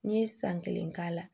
N'i ye san kelen k'a la